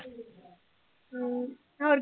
ਹਮ ਹੋਰ